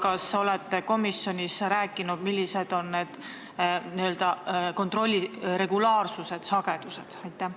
Kas te olete komisjonis rääkinud, milline on kontrolli n-ö regulaarsus, sagedus?